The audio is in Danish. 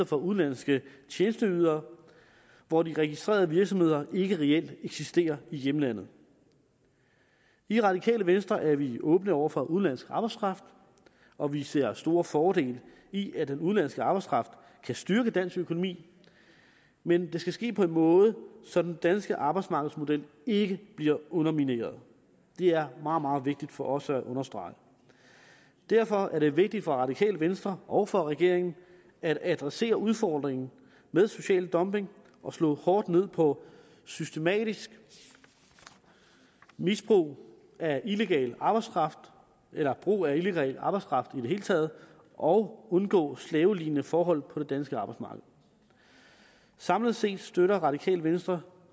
for udenlandske tjenesteydere hvor de registrerede virksomheder ikke reelt eksisterer i hjemlandet i radikale venstre er vi åbne over for udenlandsk arbejdskraft og vi ser store fordele i at den udenlandske arbejdskraft kan styrke dansk økonomi men det skal ske på en måde så den danske arbejdsmarkedsmodel ikke bliver undermineret det er meget meget vigtigt for os at understrege derfor er det vigtigt for radikale venstre og for regeringen at adressere udfordringen med social dumping og slå hårdt ned på systematisk misbrug af illegal arbejdskraft eller brug af illegal arbejdskraft i det hele taget og undgå slavelignende forhold på det danske arbejdsmarked samlet set støtter radikale venstre